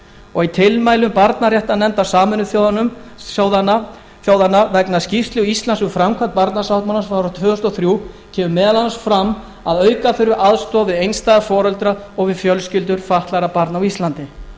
og í tilmælum barnaréttarnefndar sameinuðu þjóðanna vegna skýrslu íslands um framkvæmd barnasáttmálans barnasáttmálans frá árinu tvö þúsund og þrjú kemur meðal annars fram að auka þurfi aðstoð við einstæða foreldra og við fjölskyldur fatlaðra barna á